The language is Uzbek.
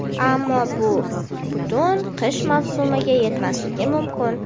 ammo bu butun qish mavsumiga yetmasligi mumkin.